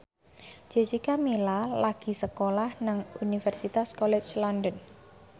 Jessica Milla lagi sekolah nang Universitas College London